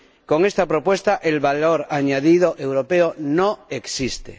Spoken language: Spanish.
Con esta propuesta, el valor añadido europeo no existe.